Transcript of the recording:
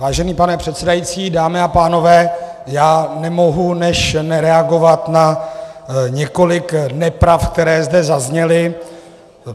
Vážený pane předsedající, dámy a pánové, já nemohu než reagovat na několik nepravd, které zde zazněly.